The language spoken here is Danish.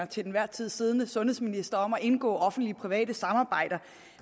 til enhver tid siddende sundhedsminister om at indgå offentlig private samarbejder